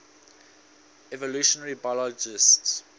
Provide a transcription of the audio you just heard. evolutionary biologists